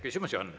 Küsimusi on.